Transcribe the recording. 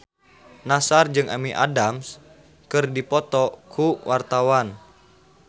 Nassar jeung Amy Adams keur dipoto ku wartawan